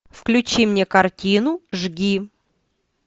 включи мне картину жги